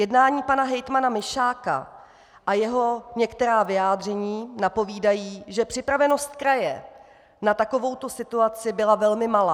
Jednání pana hejtmana Mišáka a jeho některá vyjádření napovídají, že připravenost kraje na takovouto situaci byla velmi malá.